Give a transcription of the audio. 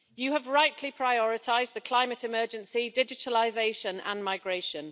You have rightly prioritised the climate emergency, digitalisation and migration.